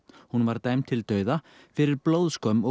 hún var dæmd til dauða fyrir blóðskömm og